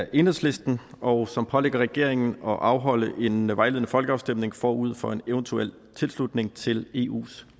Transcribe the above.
af enhedslisten og som pålægger regeringen at afholde en vejledende folkeafstemning forud for en eventuel tilslutning til eus